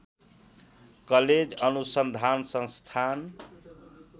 college अनुसन्धान संस्थान